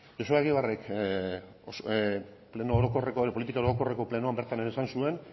joseba egibarrek politika orokorreko plenoan bertan ere esan zuen